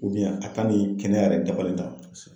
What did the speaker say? a ka nin kɛnɛya yɛrɛ dafalen tan kosɛ